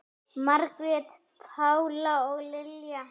Margrét Pála og Lilja.